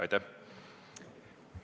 Aitäh!